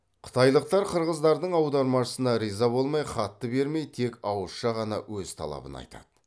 қытайлықтар қырғыздардың аудармашысына риза болмай хатты бермей тек ауызша ғана өз талабын айтады